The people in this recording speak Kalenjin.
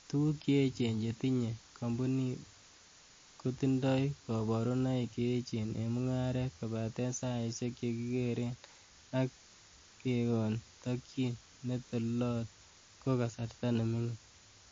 Tuguk che echen che tinye komponit, kotindoi koborunoik che echen en mungaret, kobaten saiisiek chekikeren ak kekon tokyin netelelot ko kasarta nemingin.